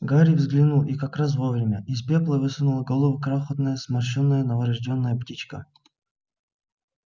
гарри взглянул и как раз вовремя из пепла высунула голову крохотная сморщенная новорождённая птичка